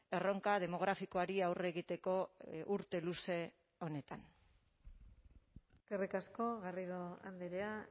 erronka demografikoari aurre egiteko urte luze honetan eskerrik asko garrido andrea